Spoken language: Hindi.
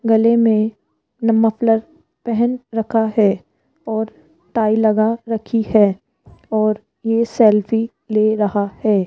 गले में मोफलर पहन रखा है और टाई लगा रखी है और ये सेल्फी ले रहा है।